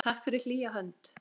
Takk fyrir hlýja hönd.